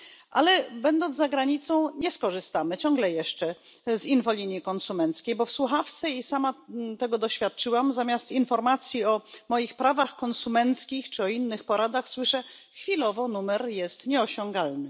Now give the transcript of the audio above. Ale będąc za granicą, nie skorzystamy ciągle jeszcze z infolinii konsumenckiej, bo w słuchawce i sama tego doświadczyłam zamiast informacji o moich prawach konsumenckich czy innych porad słyszę Chwilowo numer jest nieosiągalny.